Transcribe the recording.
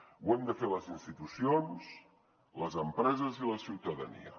ho hem de fer les institucions les empreses i la ciutadania